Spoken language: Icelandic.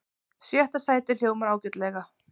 Sjötta sætið hljómar ágætlega